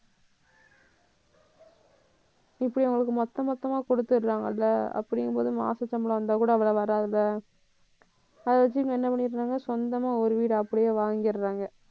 இப்படி அவங்களுக்கு மொத்த மொத்தமா குடுத்ததிடறாங்கல்ல அப்படிங்கும்போது மாச சம்பளம் வந்தா கூட அவ்ள வராதுல்ல அதை வச்சு இவங்க என்ன பண்ணிடறாங்க சொந்தமா ஒரு வீடு அப்படியே வாங்கிடறாங்க